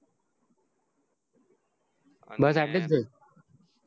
બસ એટલીજ જોઈ